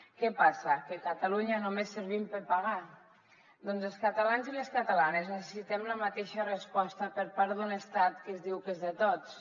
què passa que a catalunya només servim per pagar doncs els catalans i les catalanes necessitem la mateixa resposta per part d’un estat que es diu que és de tots